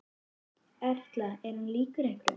Erla: Er hann líkur einhverjum?